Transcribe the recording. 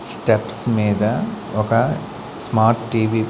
Steps మీద ఒక smart TV .